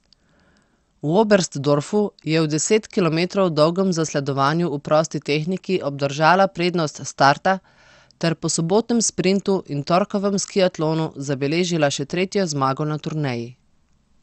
V Oberstdorfu je v deset kilometrov dolgem zasledovanju v prosti tehniki obdržala prednost s starta ter po sobotnem sprintu in torkovem skiatlonu zabeležila še tretjo zmago na turneji.